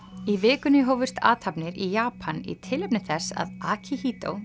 í vikunni hófust athafnir í Japan í tilefni þess að